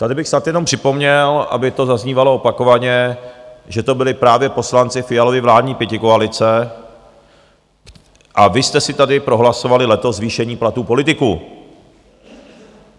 Tady bych snad jenom připomněl, aby to zaznívalo opakovaně, že to byli právě poslanci Fialovy vládní pětikoalice, a vy jste si tady prohlasovali letos zvýšení platů politiků.